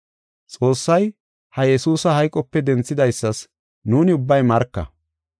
“Xoossay, ha Yesuusa hayqope denthidaysas nuuni ubbay marka.